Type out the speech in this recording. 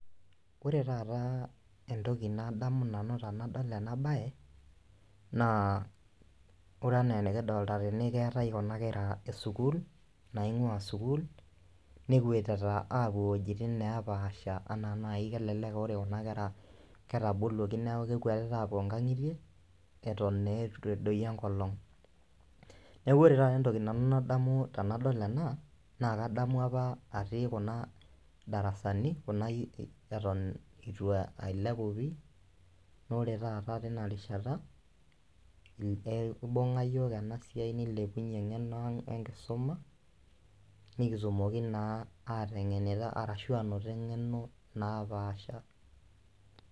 Ore taata entoki nadamu nanu tenadol ena baye naa ore enaa enikidolta tene naa keetae kuna kera esukuul naing'ua sukuul nekwetita apuo iwuejitin nepaasha anaa nai kelelek aore kuna kera naa ketaboluoki neku kekwetita apuo nkang'itie eton naa etu edoyio enkolong niaku ore taata nanu entoki nadamu tenadol ena naa kadamu apa atii kuna [csdarasani eton itu ae ailepu pii nore taata tina rishata ei ibung'a iyiok en siai nileounyie eng'eno ang 'enkisuma nikitumok naa ateng'enita arashu enoto eng'eno napaasha .